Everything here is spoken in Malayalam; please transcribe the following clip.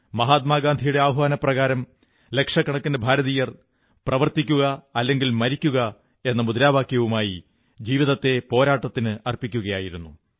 മഹാത്മാഗാന്ധിയുടെ ആഹ്വാനപ്രകാരം ലക്ഷക്കണക്കിന് ഭാരതീയർ പ്രവർത്തിക്കുക അല്ലെങ്കിൽ മരിക്കുക എന്ന മന്ത്രവുമായി ജീവിതത്തെ പോരാട്ടത്തിന് അർപ്പിക്കുകയായിരുന്നു